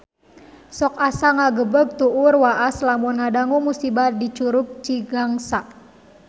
Sok asa ngagebeg tur waas lamun ngadangu musibah di Curug Cigangsa